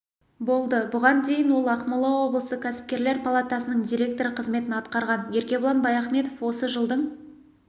болды бұған дейін ол ақмола облысы кәсіпкерлер палатасының директоры қызметін атқарған еркебұлан баяхметов осы жылдың